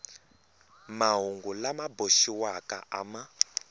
mahungu lama boxiwaka a ma